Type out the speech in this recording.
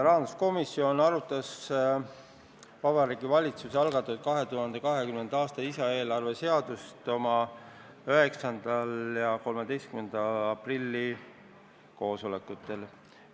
Rahanduskomisjon arutas Vabariigi Valitsuse algatatud 2020. aasta lisaeelarve seadust oma 9. ja 13. aprilli koosolekul.